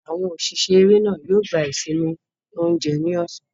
Àwọn òṣìṣẹ́ eré náà yóò gba ìsinmi oúnjẹ ní ọ̀sán.